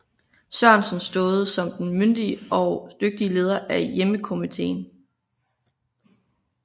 Sørensen stået som den myndige og dygtige leder af hjemmekomiteen